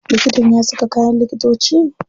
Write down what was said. Likitan ya saka kayan likitoci?